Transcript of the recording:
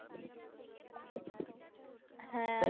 হ্যাঁ, আরও